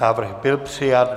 Návrh byl přijat.